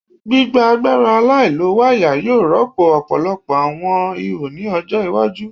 Gbigba agbara alailowaya yoo rọpo ọpọlọpọ awọn iho ni ọjọ iwaju